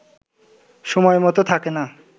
সময়মতো থাকে না